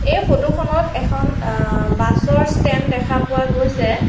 এই ফটো খনত এখন আ বাছৰ ষ্টেণ্ড দেখা পোৱা গৈছে।